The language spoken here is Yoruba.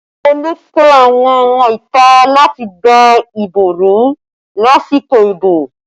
Olú pe àwọn ọmọ ìta láti dá ìbò rú lásìkò ìbò